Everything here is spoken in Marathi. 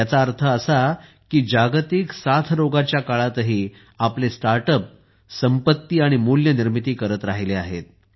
याचा अर्थ असा की जागतिक साथरोगाच्या या काळातही आपले स्टार्टअप संपत्ती आणि मूल्य निर्मिती करत राहिले आहेत